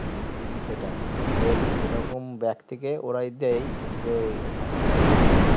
সেটাই সেই সেইরকম ব্যাক্তিকে ওরাই দেয় যে শাখা গুলো হয়